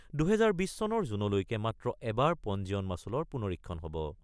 ২০২০ চনৰ জুনলৈকে মাত্ৰ এবাৰ পঞ্জীয়ন মাছুলৰ পুনৰীক্ষণ হব।